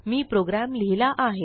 मी program लिहिला आहे